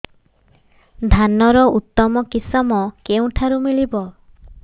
ଧାନର ଉତ୍ତମ କିଶମ କେଉଁଠାରୁ ମିଳିବ